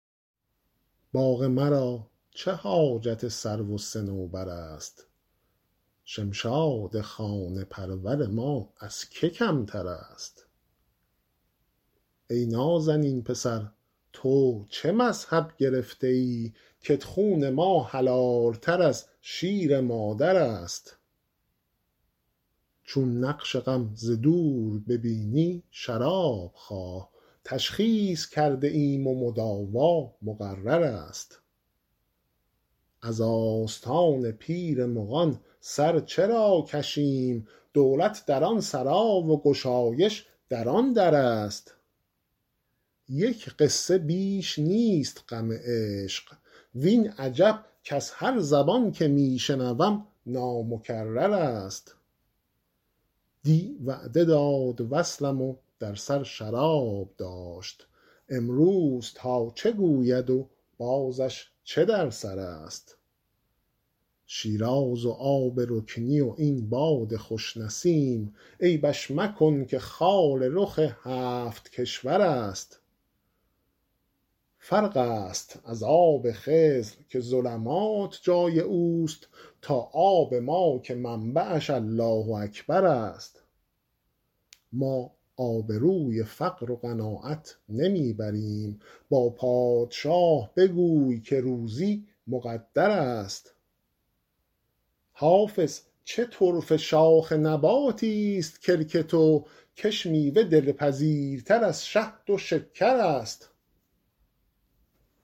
باغ مرا چه حاجت سرو و صنوبر است شمشاد خانه پرور ما از که کمتر است ای نازنین پسر تو چه مذهب گرفته ای کت خون ما حلال تر از شیر مادر است چون نقش غم ز دور ببینی شراب خواه تشخیص کرده ایم و مداوا مقرر است از آستان پیر مغان سر چرا کشیم دولت در آن سرا و گشایش در آن در است یک قصه بیش نیست غم عشق وین عجب کز هر زبان که می شنوم نامکرر است دی وعده داد وصلم و در سر شراب داشت امروز تا چه گوید و بازش چه در سر است شیراز و آب رکنی و این باد خوش نسیم عیبش مکن که خال رخ هفت کشور است فرق است از آب خضر که ظلمات جای او است تا آب ما که منبعش الله اکبر است ما آبروی فقر و قناعت نمی بریم با پادشه بگوی که روزی مقدر است حافظ چه طرفه شاخ نباتیست کلک تو کش میوه دلپذیرتر از شهد و شکر است